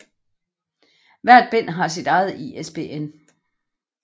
Hvert bind har sit eget ISBN